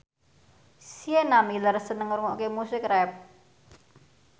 Sienna Miller seneng ngrungokne musik rap